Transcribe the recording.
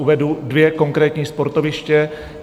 Uvedu dvě konkrétní sportoviště.